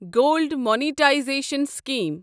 gold monetisation scheme